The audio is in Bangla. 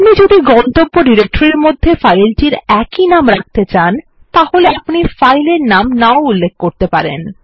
আপনি যদি গন্তব্য ডিরেক্টরির মধ্যে ফাইলটির একই নাম রাখতে চান তাহলে আপনি ফাইল এর নাম না উল্লেখ করতে পারেন